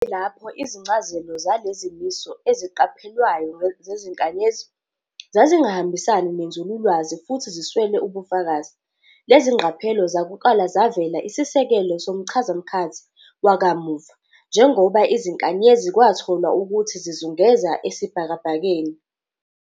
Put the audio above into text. Kuyilapho izincazelo zalezimiso eziqaphelwayo zezinkanyezi zazingahambisani nenzululwazi futhi ziswele ubufakazi, lezingqaphelo zakuqala zavela isisekelo zomchazamkhathi wakamuva, njengoba izinkanyezi kwatolwa ukuthi zizungeza esibhakabhakeni.